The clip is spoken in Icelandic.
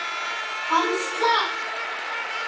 Hann slapp.